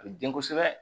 A bɛ den kosɛbɛ